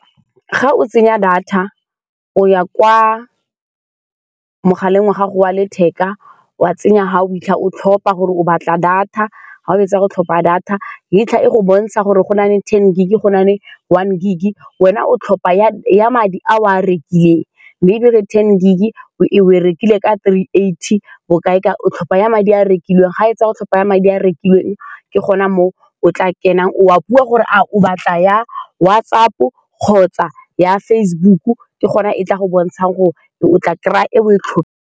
Fa o tsenya data o ya kwa mogaleng wa gago wa letheka. O a tsenya fa o 'itlha, o tlhopha gore o batla data, fa o fetsa go tlhopha data e fitlha e go bontsha gore gona le ten gig-e, gona le one gig-e, wena o tlhopha ya ya madi a o a rekileng, maybe ere ten gig-e e, o e rekile ka three eighty bokae, ka o tlhopha ya madi a wa rekileng. Fa o fetsa, go tlhopha ya madi a rekilweng ke gone mo o tla kenang, o a bua gore a o batla ya WhatsApp-o kgotsa ya Facebook-o. Ke gone e tla go bontshang gore o tla kry-a e oe .